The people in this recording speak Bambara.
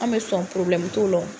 Anw be sɔn t'o la wo.